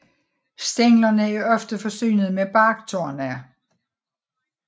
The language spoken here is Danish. Stænglerne er ofte forsynet med barktorne